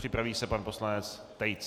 Připraví se pan poslanec Tejc.